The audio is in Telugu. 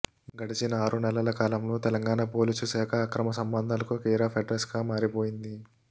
గడిచిన ఆరు నెలల కాలంలో తెలంగాణ పోలీసు శాఖ అక్రమ సంబంధాలకు కేరాఫ్ అడ్రస్ గా మారిపోయింది